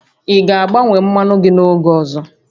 Ị ga-agbanwe mmanụ gị oge ọzọ?